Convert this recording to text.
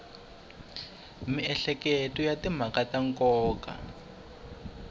miehleketo ya timhaka ta nkoka